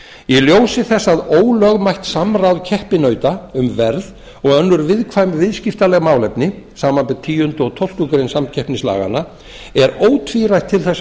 í ljósi þess að ólögmætt samráð keppinauta um verð og önnur viðkvæm viðskiptaleg málefni samanber tíundu og tólftu greinar samkeppnislaganna er ótvírætt til þess